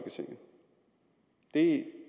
det